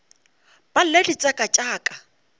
ba lle ditseka tša ka